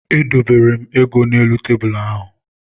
Edobere m ego n'elu tebulu ahụ.